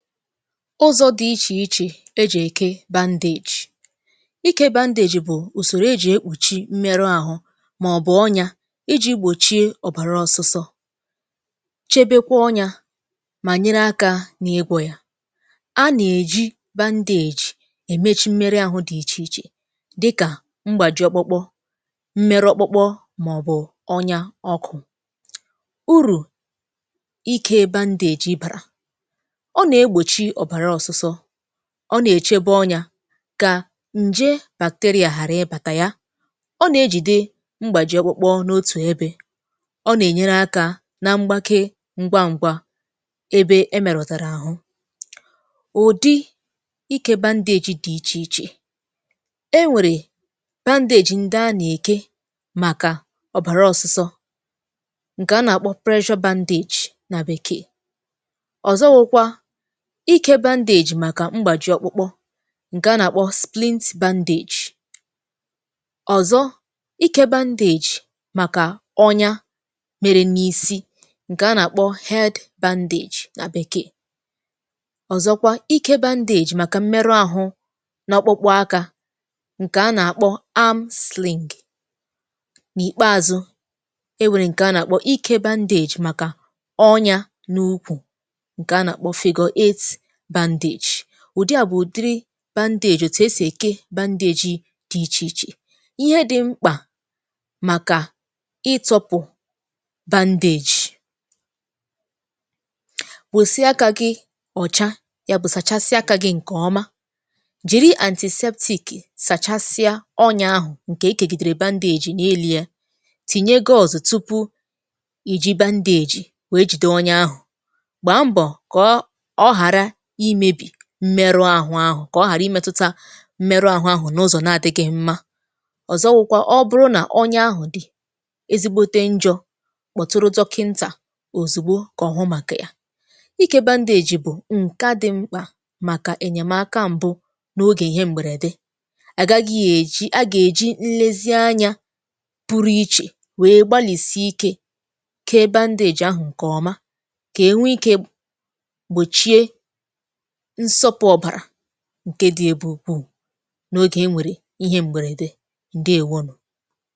Ụzọ dị ichè ichè ejì èke bandage. Iké bandage bụ̀ ùsòrò ejì ekpùchi mmerụ ȧhụ̇ màọ̀bụ̀ ọnyá iji̇ gbòchie ọ̀bàra ọsụsọ, chebekwa ọnyá mà nyere aka n’igwò ya. A nà-èji bandage èmechi mmerụ ahụ dị ichè ichè dịkà mgbàji ọkpụkpụ, mmerụ ọkpụkpụ m̀màọ̀bụ̀ ọnyá ọkụ. Uru ike bandage bàrà; ọ na-egbòchi ọ̀bàra ọsụsọ, ọ nà-èchebe ọnyá kà ǹje bacteria ghàra ịbàtà ya. Ọ nà-ejìde mgbàji ọkpụkpụ n’otù ebe, ọ nà-ènyere aka na mgbake ngwa ǹgwa ebe e mèrọ̀tàrà àhụ. Ụdị ike bandage dị̇ ichè ichè; enwèrè bandage ndị a nà-èke màkà ọ̀bàra ọ̀sụsọ ǹkè a nà-àkpọ pressure bandage nà bekee. Ọzọwụkwa ike bandage màkà mgbàji ọkpụkpụ ǹke a nà-àkpọ splint bandage. Ọzọ ike bandage màkà ọnyá mèrè n’isi ǹkè a nà-àkpọ head bandage nà bekee. Ọzọkwa ike bandage màkà mmerụ àhụ n’ọkpụkpụ akȧ ǹkè a nà-àkpọ arm sling. N'ìkpeazụ, e wèrè ǹkè a nà-àkpọ ike bandage màkà ọnyá n’ukwù nke a nà-àkpọ figure eight bandage; ùdi à bụ̀ ùdiri bandage òtù esì èke bandage dị̇ ichè ichè. Ihe dị̇ mkpà màkà itọpụ̀ bandage. Wèsịa akà gị ọ̀cha ya bụ̀ sachasịa aka gị̇ ǹkè ọma jìri antiseptic sàchàsịa ọnyá ahụ̀ ǹkè e kègìdèrè bandage n'ime ya. Tìnye gọzụ̀ tupu iji̇ bandage wèe jìde ọnyá ahụ̀. Gbaa mbọ ka ọ ghara imebi mmerụ ahụ̀ kà ọ ghàra imetụta mmerụ ahụ̀ n’ụzọ̀ na-adị̇ghị̇ mma. Ọzọwụkwa ọ bụrụ nà onye ahụ̀ dị̀ ezigbote njọ kpọ̀tụrụ dọkịntà òzùgbo kà ọ̀hụ màkà yà. Ike bandage bụ̀ ǹke a dị̇ mkpà màkà ènyèmaka m̀bụ n’ogè ihe m̀bèrède. A gaghị̇ èji a gà-èji nlezi anya pụrụ ichè wee gbalìsi íké kee bandage ahụ̀ ǹkè ọma kà ènwe ike gbòchie nsọpụ ọbàrà ǹkè di ebe ukwuù n’oge enwere ihe m̀bèrède, ǹdeèwonù.